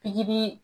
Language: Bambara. Pikiri